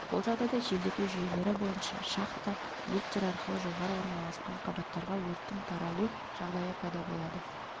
бұл жағдайда желдету жүйелері бойынша шахта люктер арқылы жоғары орналасқан қабаттарға өрттің таралу жағдайы пайда болады